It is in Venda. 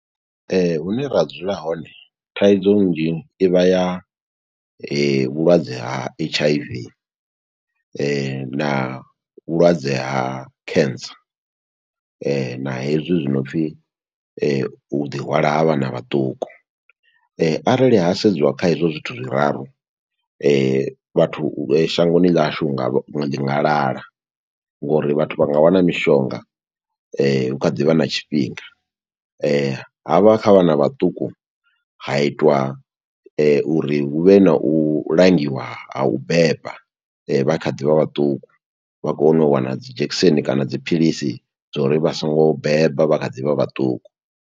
Hune ra dzula hone thaidzo nnzhi i vha ya vhulwadze ha H_I_V na vhulwadze ha cancer, na hezwi zwi no pfi u ḓi hwala ha vhana vhaṱuku. Arali ha sedziwa kha hezwo zwithu zwiraru vhathu shangoni ḽa hashu hu nga, ḽi nga lala ngo uri vhathu vha nga wana mishonga hu kha ḓivha na tshifhinga. Ha vha kha vhana vhaṱuku, ha itiwa uri hu vhe na u langiwa ha u beba vha kha ḓivha vhaṱuku, vha kone u wana dzi dzhekiseni kana dzi philisi dzo uri vha songo beba vha kha ḓi vha vhaṱuku.